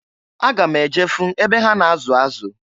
Aga m eje fụ ebe ha na-azụ azụ.